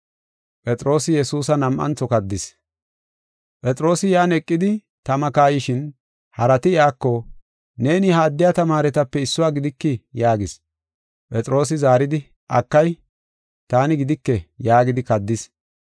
Phexroosi yan eqidi, tama kayishin, harati iyako, “Neeni ha addiya tamaaretape issuwa gidikii?” yaagis. Phexroosi zaaridi, “Akay, taani gidike” yaagidi kaddis.